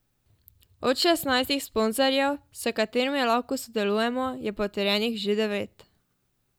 Od šestnajstih sponzorjev, s katerimi lahko sodelujemo, je potrjenih že devet.